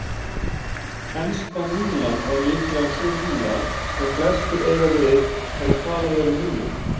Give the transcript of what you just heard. Enska mílan er líklega sú míla sem flestir eiga við þegar talað er um mílur.